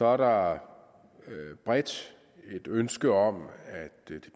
er der bredt et ønske om at det